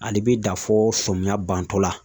Ali bi da fɔ sɔmiya bantɔla